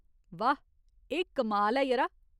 वाह ! एह् कमाल ऐ, यरा।